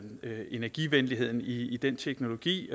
energivenligheden i den teknologi